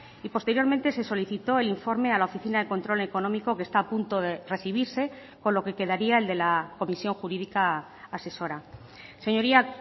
y posteriormente se solicitó el informe a la oficina de control económico que está a punto de recibirse con lo que quedaría el de la comisión jurídica asesora señoría